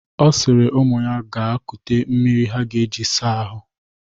Ọ sịrị ụmụ ya ga kute mmiri ha ga-eji saa ahụ.